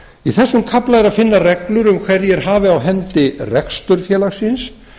í þessum kafla er að finna reglur um hverjir hafi á hendi rekstur félagsins